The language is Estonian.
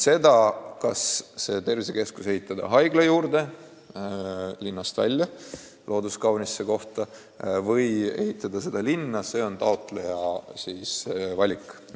See, kas tervisekeskus ehitada olemasoleva haigla juurde, linnast välja kauni loodusega kohta või linna – see on taotleja valik.